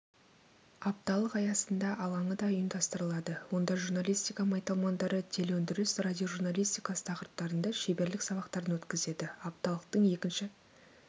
апталық аясында алаңы да ұйымдастырылады онда журналистика майталмандары телеөндіріс радиожурналистикасы тақырыптарында шеберлік сабақтарын өткізеді апталықтың екінші